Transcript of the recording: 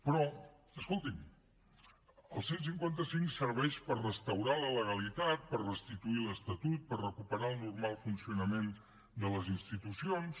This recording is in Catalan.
però escolti’m el cent i cinquanta cinc serveix per restaurar la legalitat per restituir l’estatut per recuperar el normal funcionament de les institucions